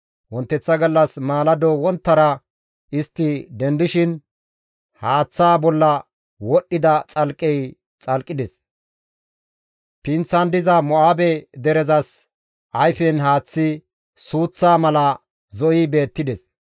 Wonteththa gallas maalado wonttara istti dendishin haaththaa bolla wodhdhida xalqqey xolqides; pinththan diza Mo7aabe derezas ayfen haaththi suuththa mala zo7i beettides.